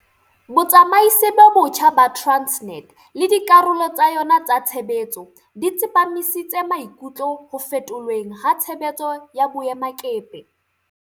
Botsamaisi bo botjha ba Transnet le dikarolo tsa yona tsa tshebetso di tsepamisitse maikutlo ho fetolweng ha tshebetso ya boemakepe.